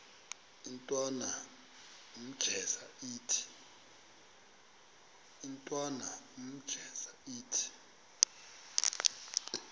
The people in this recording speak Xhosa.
intwana unjeza ithi